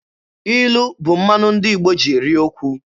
Ilu bụ mmanụ ndị Igbo ji eri okwu.